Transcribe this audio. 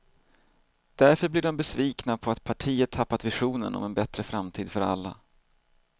Därför blir de besvikna på att partiet tappat visionen om en bättre framtid för alla.